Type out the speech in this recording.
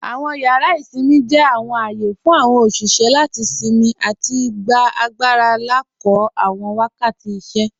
Awọn yàrà isinmí jẹ́ awọn ààyè fún awọn oṣiṣẹ́ láti sinmí àti gbà agbàra lákọ̀ọ̀ awọn wakàtí ìṣẹ́.